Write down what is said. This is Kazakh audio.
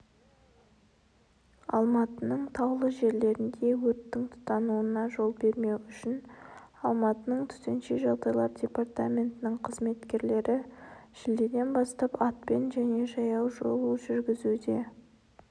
алматының таулы жерлерінде өрттің тұтануына жол бермеу үшін алматының төтенше жағдайлар департаментінің қызметкерлері шілдеден бастап атпен және жаяу шолу жүргізуде